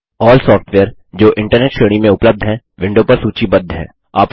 अल्ल software जो internet श्रेणी में उपलब्ध है विडों पर सूचीबद्ध है